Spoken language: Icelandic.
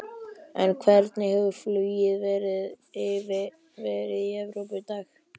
En hvernig hefur flug verið í Evrópu í dag?